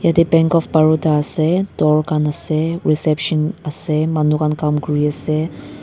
yatae bank of baroda ase door khan ase reception ase manu khan Kam kuriase.